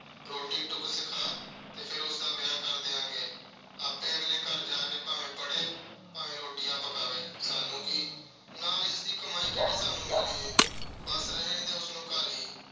ਰੋਟੀ-ਟੁੱਕ ਸਿਖਾ ਤੇ ਫਿਰ ਉਸਦਾ ਵਿਆਹ ਕਰ ਦਿਆਂਗੇ। ਆਪੇ ਅਗਲੇ ਘਰ ਜਾ ਕੇ ਭਾਵੇਂ ਪੜ੍ਹੇ ਤੇ ਭਾਵੇਂ ਰੋਟੀਆਂ ਪਕਾਵੇ, ਸਾਨੂੰ ਕੀ। ਨਾਲੇ ਇਸਦੀ ਕਮਾਈ ਕਿਹੜੀ ਸਾਨੂੰ ਮਿਲਣੀ ਏ। ਬੱਸ ਰਹਿਣ ਦੇ, ਉਸਨੂੰ ਘਰ ਹੀ।